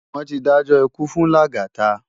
Wón ti dájò ikú fún Lagata